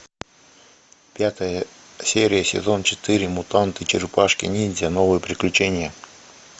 пятая серия сезон четыре мутанты черепашки ниндзя новые приключения